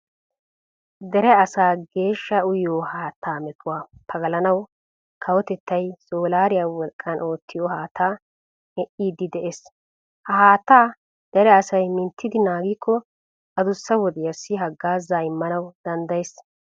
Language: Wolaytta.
Dere asaa geeshsha uyiyo haattaa metuwa pagalanawu kawotettay soolaariya wolqqan oottiya haattaa medhdhiiddi de'ees. Ha haattaa dere asay minttidi naagikko adussa wodiyassi haggaazaa immana danddayees.